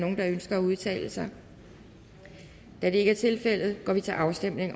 nogen der ønsker at udtale sig da det ikke er tilfældet går vi til afstemning